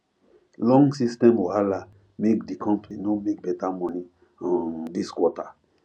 long system wahala make di company no make better money um this quarter